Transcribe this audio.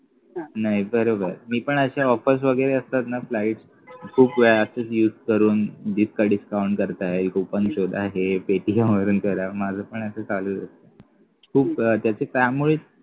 नाही बरोबर मी पण अश्या offers वगैरे असतात न flight खूप वेळा खूप use करून जितका discount करता येईल खूप हे कुपन शोधा paytm करा माझं पण असं चालूच असत खूप त्याच त्यामुळेच